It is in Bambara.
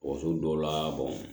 Woso dɔw la